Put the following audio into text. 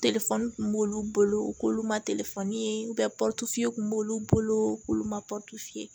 kun b'olu bolo u k'olu ma ye kun b'olu bolo k'olu ma